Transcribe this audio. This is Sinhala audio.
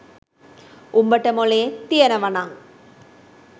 උඹට මොළේ තියෙනවනං